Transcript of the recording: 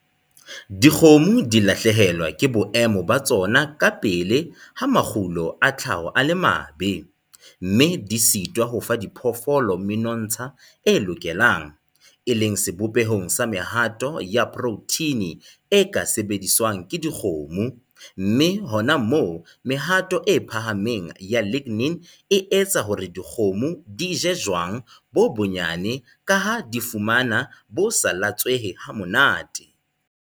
Dikgomo di lahlehelwa ke boemo ba tsona kapele ha makgulo a tlhaho a le mabe, mme di sitwa ho fa diphoofolo menontsha e lokelang, e leng sebopehong sa mehato ya protheine e ka sebediswang ke dikgomo, mme hona moo mehato e phahameng ya lignin e etsa hore dikgomo di je jwang bo bonyane ka ha di fumana bo sa latswehe ha monate.